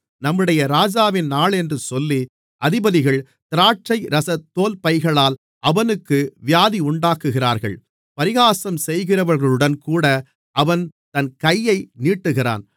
நம்முடைய ராஜாவின் நாளென்று சொல்லி அதிபதிகள் திராட்சைரச தோல்பைகளால் அவனுக்கு வியாதியுண்டாக்குகிறார்கள் பரிகாசம் செய்கிறவர்களுடன்கூட அவன் தன் கையை நீட்டுகிறான்